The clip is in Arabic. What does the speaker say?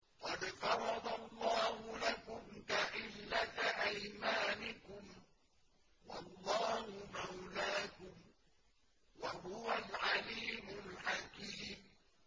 قَدْ فَرَضَ اللَّهُ لَكُمْ تَحِلَّةَ أَيْمَانِكُمْ ۚ وَاللَّهُ مَوْلَاكُمْ ۖ وَهُوَ الْعَلِيمُ الْحَكِيمُ